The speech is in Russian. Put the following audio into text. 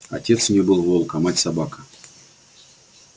отец у неё был волк а мать собака